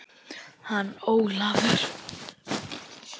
Hann Ólafur?